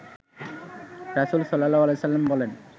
রাসূল সা. বলেন